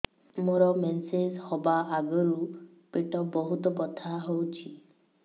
ମୋର ମେନ୍ସେସ ହବା ଆଗରୁ ପେଟ ବହୁତ ବଥା ହଉଚି